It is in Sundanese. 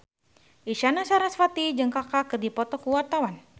Isyana Sarasvati jeung Kaka keur dipoto ku wartawan